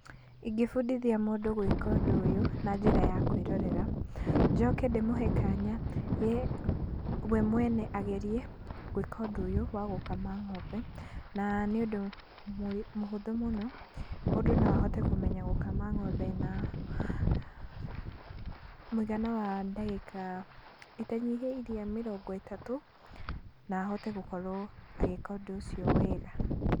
Ĩngĩbundithia mũndũ gwĩka ũndũ ũyũ na njĩra ya kwĩrorera. Njoke ndĩmũhe kanya we mwene agerie gwĩka ũndũ ũyũ wa gũkama ng'ombe. Na nĩũndũ mũhũthũ mũno, mũndũ no ahote kũmenya gũkama ng'ombe na mũigana wa ndagĩka itanyihiĩre mirongo ĩtatũ, na ahote gũkorwo agĩka ũndũ ũcio wega.